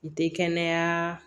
N tɛ kɛnɛya